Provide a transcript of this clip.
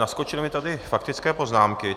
Naskočily mi tady faktické poznámky.